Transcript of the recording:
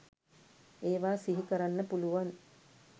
ඒවා සිහිකරන්න පුළුවන්.